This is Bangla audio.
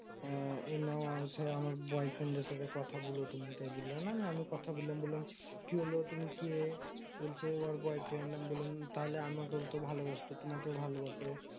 এই নাও আমার সেই আমার boyfriend সাথে কথা বলো তুমি তাই বললে না নিয়ে আমি কথা বললাম বললাম কি হল তুমি কে? বলছে ওর boyfriend আমি বললাম তাহলে আমাকেও তো ভালোবাসতো তো তোমাকেও ভালবাসে